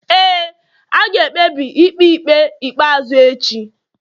ee, a ga-ekpebi ikpe ikpe ikpeazụ echi